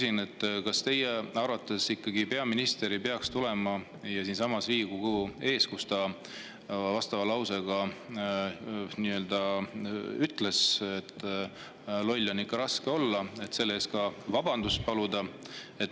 Ja lõpuks, kas teie arvates peaminister ei peaks tulema ja siinsamas Riigikogu ees, kus ta ütles, et loll on ikka raske olla, selle eest vabandust paluma?